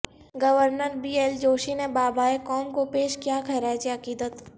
گورنربی L Joshi نے بابائے قوم کو پیش کیا خراج عقیدت